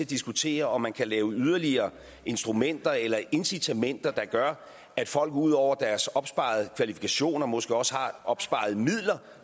diskutere om man kan lave yderligere instrumenter eller incitamenter der gør at folk ud over deres opsparede kvalifikationer måske også har opsparede midler